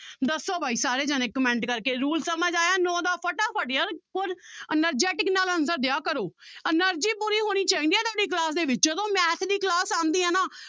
ਦੱਸੋ ਬਾਈ ਸਾਰੇ ਜਾਣੇ comment ਕਰਕੇ rule ਸਮਝ ਆਇਆ ਨੋਂ ਦਾ ਫਟਾਫਟ ਯਾਰ ਹੋਰ energetic ਨਾਲ answer ਦਿਆ ਕਰੋ energy ਪੂਰੀ ਹੋਣੀ ਚਾਹੀਦੀ ਹੈ ਤੁਹਾਡੀ class ਦੇ ਵਿੱਚ ਜਦੋਂ math ਦੀ class ਆਉਂਦੀ ਹੈ ਨਾ